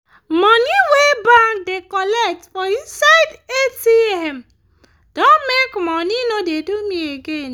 money wey bank da colet for myside for atm don make money no da do me again